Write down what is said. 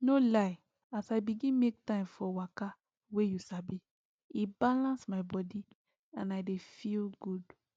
no lie as i begin make time for waka wey you sabi e balance my body and i dey feel good